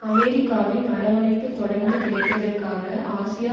அமெரிக்காவின் அரவனைப்பு தொடர்ந்து கிடைப்பதற்காக ஆசியா